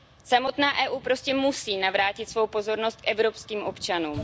Samotná Evropská unie prostě musí navrátit svou pozornost evropským občanům.